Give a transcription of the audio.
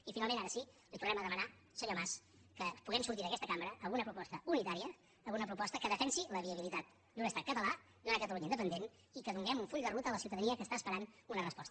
i finalment ara sí li tornem a demanar senyor mas que puguem sortir d’aquesta cambra amb una proposta unitària amb una proposta que defensi la viabilitat d’un estat català d’una catalunya independent i que donem un full de ruta a la ciutadania que està esperant una resposta